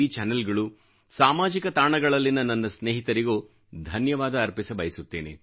ಚಾನಲ್ಗಳು ಸಾಮಾಜಿಕ ತಾಣಗಳಲ್ಲಿನ ನನ್ನ ಸ್ನೇಹಿತರಿಗೂ ಧನ್ಯವಾದ ಅರ್ಪಿಸಬಯಸುತ್ತೇನೆ